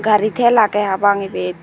gari tel agey hapang ebet.